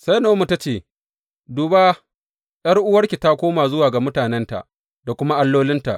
Sai Na’omi ta ce, Duba, ’yar’uwanki ta koma zuwa ga mutanenta da kuma allolinta.